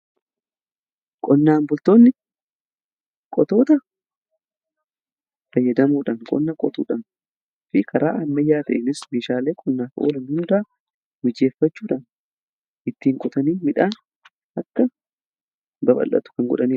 Qonnaan bultoonni qotoota fayyadamuudhaan qonna qotuudhanii fi karaa ammayyaa ta'enis mishaalee qonnaa fi oolan hundaa mijeeffachuudhaan ittiin qotanii midhaan akka babal'atu kan godhanidha